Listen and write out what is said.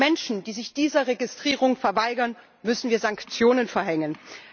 Gegen Menschen, die sich dieser Registrierung verweigern, müssen wir Sanktionen verhängen.